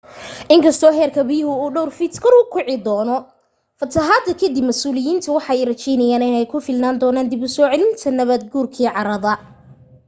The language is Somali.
inkasto heerka biyaha uu dhowr fiit kor ukici doocno fatahaada kadib masuuliyiinta waxa ay raajeynayaan in ay ku filnaan doonan dib usoo celinta nabaad guurki carada